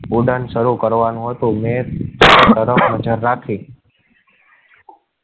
ઉડાન શરૂ કરવા નું હોય તો હાજર રાખી.